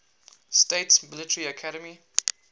states military academy